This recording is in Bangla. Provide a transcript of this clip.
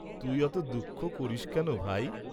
"তুই অত দুঃখ করিস্ কেন ভাই।"